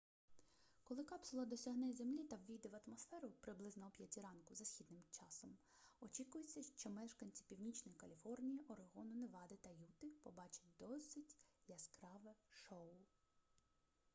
коли капсула досягне землі та ввійде в атмосферу приблизно о 5 ранку за східним часом очікується що мешканці північної каліфорнії орегону невади та юти побачать досить яскраве шоу